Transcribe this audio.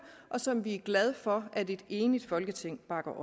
og som vi er glade for at et enigt folketing bakker